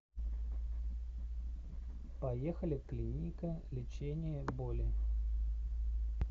поехали клиника лечения боли